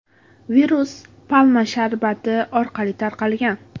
Virus palma sharbati orqali tarqalgan.